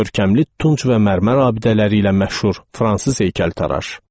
Görkəmli tunç və mərmər abidələri ilə məşhur fransız heykəltaraş.